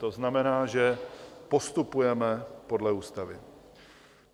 To znamená, že postupujeme podle ústavy.